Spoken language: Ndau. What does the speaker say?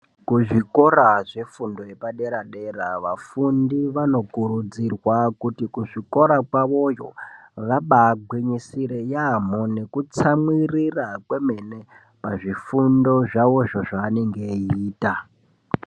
Kuzvikora zvefundo yepadera dera vafundi vanokurudzirwa kuti kuzvikora kwavo yo vaba gwinyisire yamho nekutsamwirira pazvifundo zvavo zvanenge eiita